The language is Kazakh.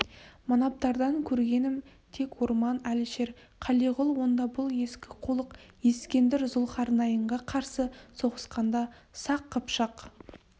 манаптардан көргенім тек орман әлішер қалиғұл онда бұл ескі қулық ескендір зұлхарнайынға қарсы соғысқанда сақ қыпшақ